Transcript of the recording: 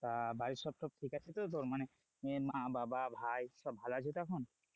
তা বাড়ির সব ঠিক আছে তো তোর মানে যে মা-বাবা ভাই সব ভালো আছে তো এখন,